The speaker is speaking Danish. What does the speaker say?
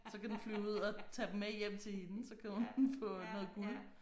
Så kan den flyve ud og tage dem med hjem til hende så kan hun få noget guld